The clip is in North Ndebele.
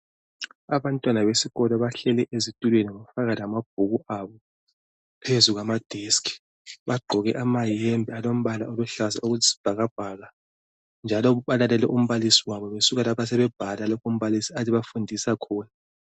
Abantwana besikolo bahleli esitulweni bafaka lamabhuku abo phezukwamadeski. Bagqoke amayembe alompala oluhlaza okwesibhakabhaka njalo balalele umbalisi wabo besuka lapha sebebhala lapha umbalisi ade ebafundisa khona.